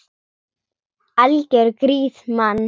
Algjör grís, mann!